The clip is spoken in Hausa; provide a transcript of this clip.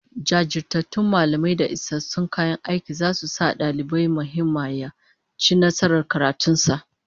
Jajirtattun mallamai da isassun kayan aiki zasu sa dalibi mai himma ya ci nasarar karatun sa